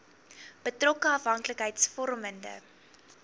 betrokke afhanklikheids vormende